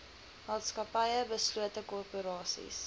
maatskappye beslote korporasies